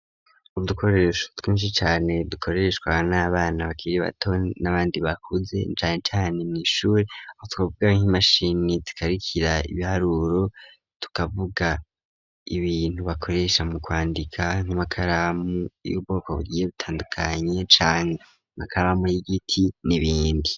Udukoresho twinshi cane dukoreshwa n'abana bakiri bato n'abandi bakuze bari mw'ishure, tukavuga nk'imashini zikarikira ibiharuro tukavuga ibintu bakoresha mu kwandika nk'amakaramu y'ubwoko bugiye butandukanye cane amakaramu y'igiti n'ibindi.